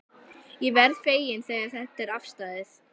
Ég verð feginn þegar þetta er afstaðið.